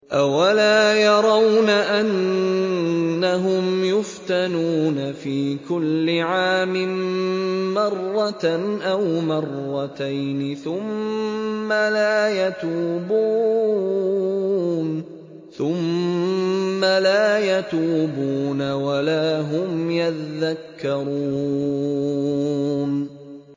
أَوَلَا يَرَوْنَ أَنَّهُمْ يُفْتَنُونَ فِي كُلِّ عَامٍ مَّرَّةً أَوْ مَرَّتَيْنِ ثُمَّ لَا يَتُوبُونَ وَلَا هُمْ يَذَّكَّرُونَ